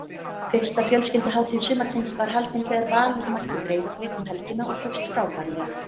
Fyrsta fjölskylduhátíð sumarsins var haldin þegar Valur mætti Breiðablik um helgina og tókst frábærlega.